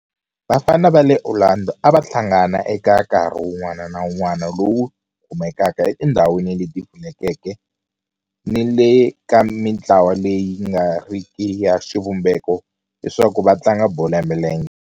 Vafana va le Orlando a va hlangana eka nkarhi wun'wana ni wun'wana lowu kumekaka etindhawini leti pfulekeke ni le ka mintlawa leyi nga riki ya xivumbeko leswaku va tlanga bolo ya milenge.